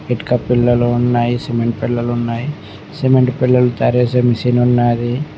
ఇటుక పిళ్లలు ఉన్నాయి సిమెంట్ పెళ్లలు ఉన్నాయ్ సిమెంట్ పెళ్లలు తయారు చేసే మెషినున్నాది .